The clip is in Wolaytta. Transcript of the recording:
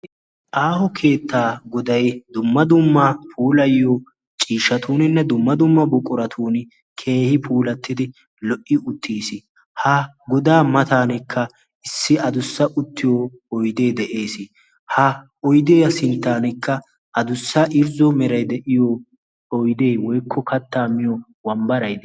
Aaho keettaa goday dumma dumma puulayiyo ciishshatuuninne dumma dumma buquratun keehi puulattidi lo'i uttiis. Ha godaa matanikka issi adussa uttiyo oydee de'ees. Ha oydiyaa sinttankka adussa irzzo meray de'iyo oydee woykko kattaa miyo wambbaray...